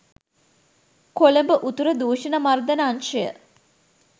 කොළඹ උතුර දූෂණ මර්දන අංශය